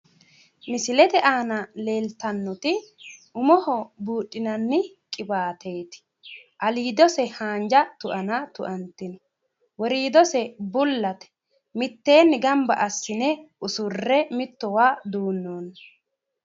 misilete aana leeltannoti umoho buudhinanni qiwaateeti aliidose haanja tuana tuantino woriidose bullate mitteenni ganba assine mittowa duunnoonni.